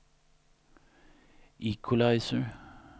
equalizer